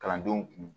Kalandenw kun